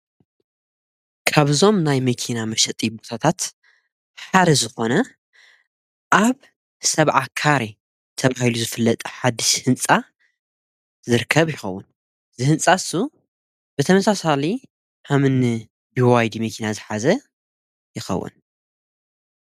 ካብዞም ናይ መኪና መሸጢ ቡታታት ሓረ ዝኾነ ኣብ ሰብዓ ካሬ ተብሂሉ ዝፍለጠ ሓድስ ሕንጻ ዝርከብ ይኸውን ዝሕንጻሱ ብተመሣሣሊ ሃምኒ ብዋይድ መኪና ዝኃዘ የኸውን።